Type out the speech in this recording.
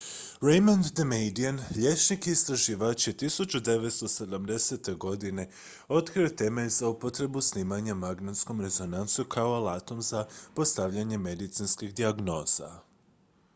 raymond damadian liječnik i istraživač je 1970. godine otkrio temelj za upotrebu snimanja magnetskom rezonancijom kao alatom za postavljanje medicinskih dijagnoza